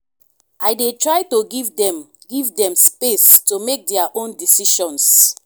i dey try to give dem give dem space to make their own decisions.